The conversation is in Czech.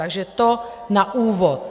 Takže to na úvod.